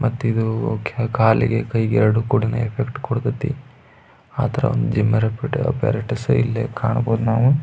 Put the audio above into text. walking ಹೋಗ್ತೇವಿ ಯೋಗ ಮಾಡ್ಕೊಂಡ್ರೆ ಸಾಕ್ ಯೋಗ ಪ್ರಾಣಾಯಾಮ ಮಾಡ್ಕೊಂಡ್ರೆ--